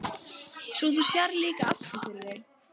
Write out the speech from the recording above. Svo þú sérð líka aftur fyrir þig?